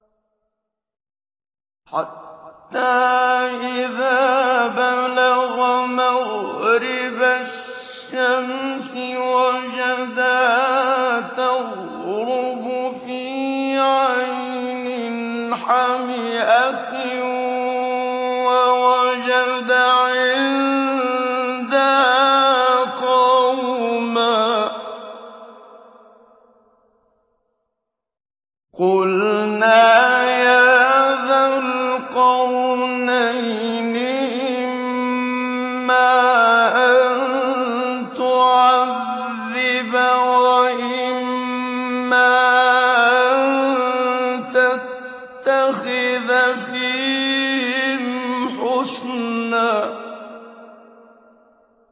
حَتَّىٰ إِذَا بَلَغَ مَغْرِبَ الشَّمْسِ وَجَدَهَا تَغْرُبُ فِي عَيْنٍ حَمِئَةٍ وَوَجَدَ عِندَهَا قَوْمًا ۗ قُلْنَا يَا ذَا الْقَرْنَيْنِ إِمَّا أَن تُعَذِّبَ وَإِمَّا أَن تَتَّخِذَ فِيهِمْ حُسْنًا